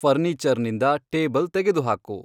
furniture ನಿಂದ table ತೆಗೆದುಹಾಕು